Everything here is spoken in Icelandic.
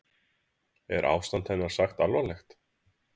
Er ástand hennar sagt alvarlegt